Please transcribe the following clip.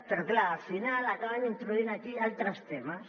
però clar al final acaben introduint aquí altres temes